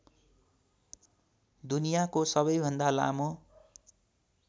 दुनियाँको सबैभन्दा लामो